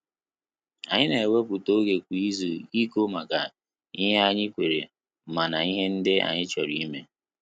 Anyị na ewepụta oge kwa izu iko maka ihe anyị kwere mna ihe ndị anyị chọrọ ime